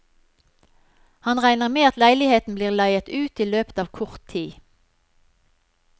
Han regner med at leiligheten blir leiet ut i løpet av kort tid.